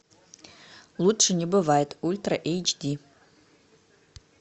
лучше не бывает ультра эйч ди